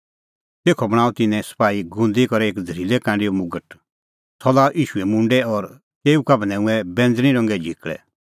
तेखअ बणांअ तिन्नैं सपाही गुंदी करै एक झ़रीलै कांडैओ मुगट सह लाअ ईशूए मुंडै और तेऊ का बन्हैऊंऐं बैंज़णीं रंगे झिकल़ै